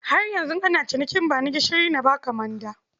Har yanzu ana cinikin ba ni gishiri na ba ka manda.